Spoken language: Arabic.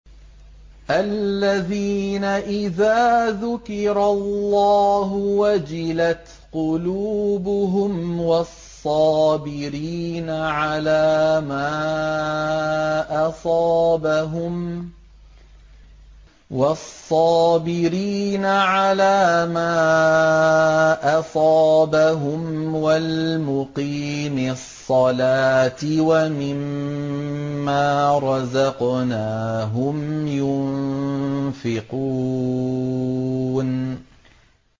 الَّذِينَ إِذَا ذُكِرَ اللَّهُ وَجِلَتْ قُلُوبُهُمْ وَالصَّابِرِينَ عَلَىٰ مَا أَصَابَهُمْ وَالْمُقِيمِي الصَّلَاةِ وَمِمَّا رَزَقْنَاهُمْ يُنفِقُونَ